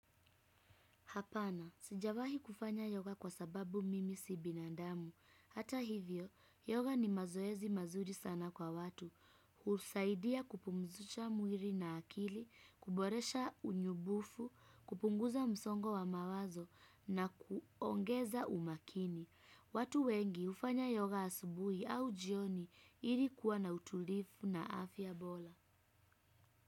Hapana, sijawahi kufanya yoga kwa sababu mimi si binandamu. Hata hivyo, yoga ni mazoezi mazuri sana kwa watu. Husaidia kupumzusha mwili na akili, kuboresha unyubufu, kupunguza msongo wa mawazo na kuongeza umakini. Watu wengi uhfanya yoga asubuhi au jioni ilikuwa na utulivu na afya bora.